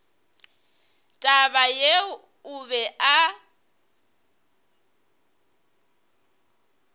taba yeo o be a